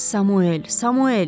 Samuel, Samuel.